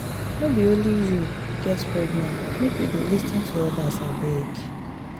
no be only you get problem make you dey lis ten to odas abeg.